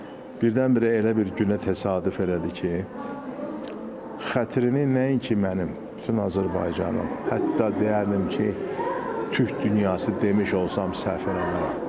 Amma birdən-birə elə bir günə təsadüf elədi ki, xətrini nəinki mənim, bütün Azərbaycanın, hətta deyərdim ki, Türk dünyası demiş olsam səhv eləmirəm.